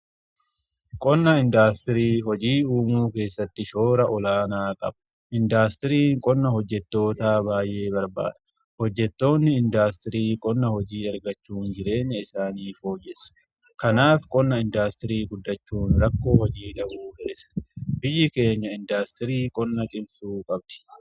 Qonna indaastirii hojii uumuu keessatti shoora olaanaa qabu indaastirii qonna hojjettootaa baa'ee barbaadha hojjettoonni indaastirii qonna hojii argachuu jireenya isaanii fooyyessu. Kanaaf qonna indaastirii guddachuun rakkoo hojii dhabuu hir'isa. Biyyi keenya indaastirii qonna cimsuu qabdi.